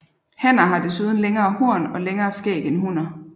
Hanner har desuden længere horn og længere skæg end hunner